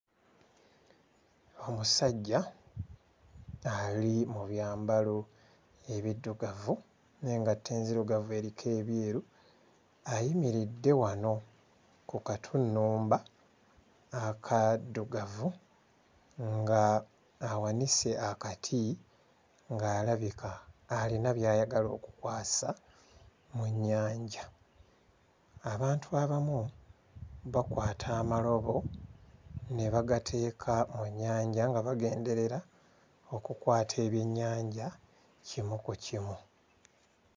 Omusajja ali mu byambalo ebiddugavu n'engatto enzirugavu eriko ebyeru ayimiridde wano ku katunnumba akaddugavu ng'awanise akati ng'alabika ayina by'ayagala okukwasa mu nnyanja, abantu abamu bakwata amalobo ne bagateeka mu nnyanja nga bagenderera okukwata ebyennyanja kimu ku kimu.